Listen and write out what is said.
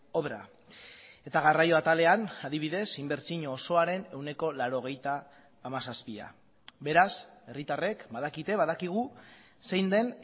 obra eta garraio atalean adibidez inbertsio osoaren ehuneko laurogeita hamazazpia beraz herritarrek badakite badakigu zein den